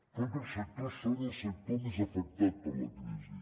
tots els sectors són el sector més afectat per la crisi